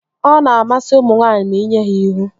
Ọ na-amasị ụmụ nwaanyị ma inye ha ihu